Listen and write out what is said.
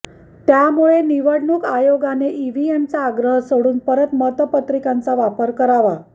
त्यामुळे निवडणूक आयोगाने ईव्हीएमचा आग्रह सोडून परत मतपत्रिकांचा वापर करावा